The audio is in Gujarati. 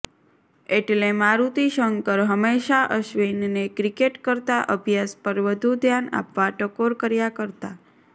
એટલે મારુતિ શંકર હંમેશાં અશ્વિનને ક્રિકેટ કરતાં અભ્યાસ પર વધુ ધ્યાન આપવા ટકોર કર્યા કરતા